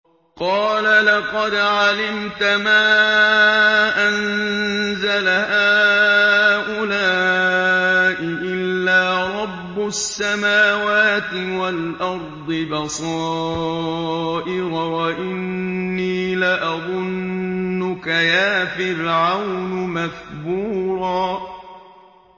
قَالَ لَقَدْ عَلِمْتَ مَا أَنزَلَ هَٰؤُلَاءِ إِلَّا رَبُّ السَّمَاوَاتِ وَالْأَرْضِ بَصَائِرَ وَإِنِّي لَأَظُنُّكَ يَا فِرْعَوْنُ مَثْبُورًا